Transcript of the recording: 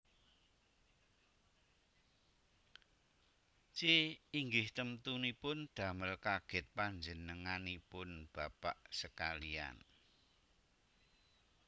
C Inggih temtunipun damel kagèt panjenenganipun bapak sekaliyan